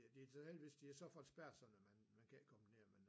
Ja det har de så heldigvis de har så fået spærret sådan at man man kan ikke komme ned